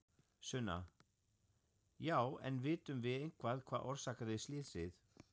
Sunna: Já en vitum við eitthvað hvað orsakaði slysið?